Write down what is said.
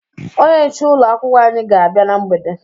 Onye nche ụlọ akwụkwọ anyị ga-abịa na mgbede